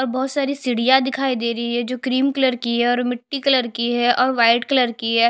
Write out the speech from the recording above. और बहोत सारी सीढिया दिखाई दे रही है जो क्रीम कलर की है और मिटटी कलर की है और वाइट कलर की है।